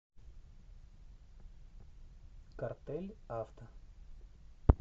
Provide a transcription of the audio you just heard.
картель авто